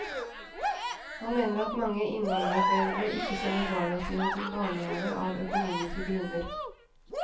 Han mener at mange innvandrerforeldre ikke sender barna sine til barnehave av økonomiske grunner.